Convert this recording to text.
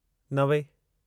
नवे